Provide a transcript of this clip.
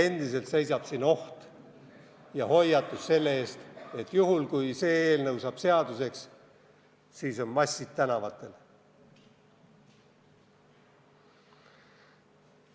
Endiselt on seal alles oht ja hoiatus selle eest, et juhul, kui see eelnõu saab seaduseks, on massid tänavatel.